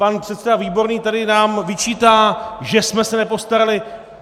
Pan předseda Výborný nám tady vyčítá, že jsme se nepostarali.